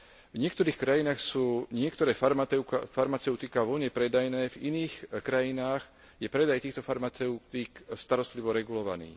V niektorých krajinách sú niektoré farmaceutiká voľne predajné, v iných krajinách je predaj týchto farmaceutík starostlivo regulovaný.